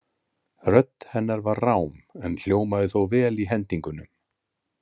Rödd hennar var rám en hljómaði þó vel í hendingunum.